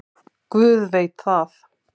Guð veit það.